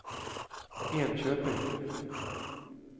Enköping